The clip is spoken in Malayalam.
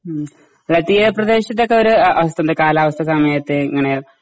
ഉം ആ തീരപ്രദേശത്തൊക്കെ ഒര് അവസ്ഥന്താ കാലാവസ്ഥ സമയത്ത് ഇങ്ങനെ